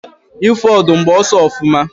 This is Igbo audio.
ifu odum, gba oso ofuma